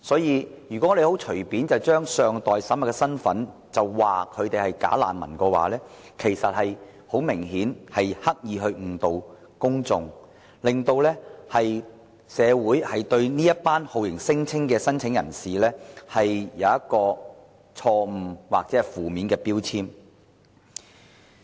如果我們隨便把這些身份尚待審核的人說成是"假難民"的話，其實很明顯是刻意誤導公眾，令社會對這群酷刑聲請人有錯誤或負面標籤。